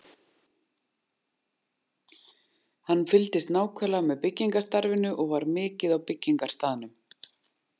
Hann fylgdist nákvæmlega með byggingarstarfinu og var mikið á byggingarstaðnum.